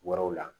Wɛrɛw la